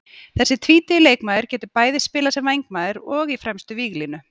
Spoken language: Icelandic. Þessi tvítugi leikmaður getur bæði spilað sem vængmaður og í fremstu víglínu.